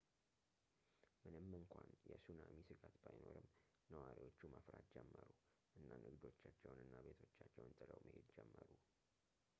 ምንም እንኳን የሱናሚ ስጋት ባይኖርም ነዋሪዎቹ መፍራት ጀመሩ እና ንግዶቻቸውን እና ቤቶቻቸውን ጥለው መሄድ ጀመሩ